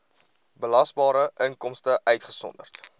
belasbare inkomste uitgesonderd